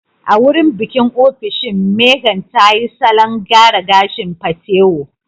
A wurin bikin ofishin, Megan tayi salon gyaran gashin patewo